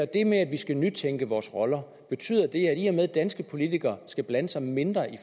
det med at vi skal nytænke vores roller i og med at danske politikere skal blande sig mindre i